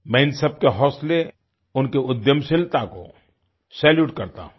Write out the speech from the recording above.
मैं इन सबके हौंसले उनकी उद्यमशीलता को सैल्यूट करता हूँ